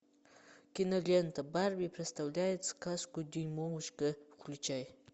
кинолента барби представляет сказку дюймовочка включай